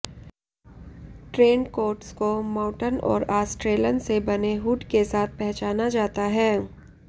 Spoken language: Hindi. ट्रेन्ड कोट्स को मौटन और आस्ट्रेलन से बने हुड के साथ पहचाना जाता है